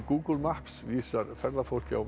Google Maps vísar ferðafólki á